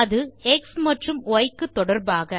அது எக்ஸ் மற்றும் ய் க்கு தொடர்பாக